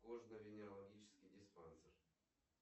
кожно венерологический диспансер